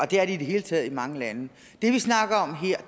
det er de i det hele taget i mange lande